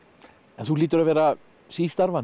en þú hlýtur að vera